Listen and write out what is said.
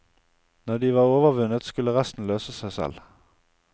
Når de var overvunnet skulle resten løse seg selv.